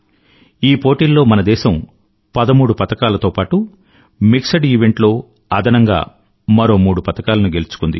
ఈ పోటీల్లో మన దేశం పదమూడు పతకాలతో పాటూ మిక్స్ ఈవెంట్ లో అదనంగా మరో మూడు పతకాలను గెలుచుకుంది